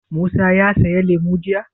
Musa ya saya lemu jiya?